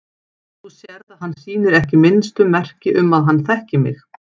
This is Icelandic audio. Þú sérð að hann sýnir ekki minnstu merki um að hann þekki mig.